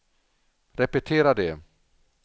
repetera det